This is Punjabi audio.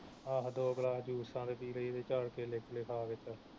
ਆਹੋ ਦੋ ਗਲਾਸ ਜੂਸਾਂ ਦੇ ਪੀ ਲਈਦੇ ਚਾਰ ਕੇਲੇ ਕੂਲੇ ਖਾ ਕੇ